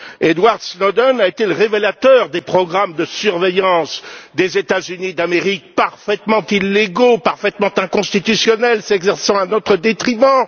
Edward Snowden a été le révélateur des programmes de surveillance des États Unis d'Amérique, parfaitement illégaux, parfaitement inconstitutionnels, s'exerçant à notre détriment.